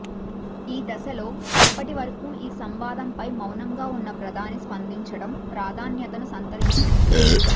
ఈ దశలో ఇప్పటివరకూ ఈ సంవాదంపై మౌనంగా ఉన్న ప్ర ధాని స్పందించడం ప్రాధాన్యతను సంతరించుకుంది